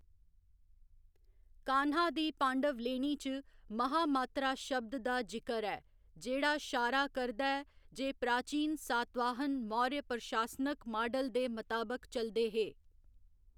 कान्हा दी पांडवलेणी च महा मात्तरा शब्द दा जिकर ऐ जेह्‌‌ड़ा शारा करदा ऐ जे प्राचीन सातवाहन मौर्य प्रशासनक माडल दे मताबक चलदे हे।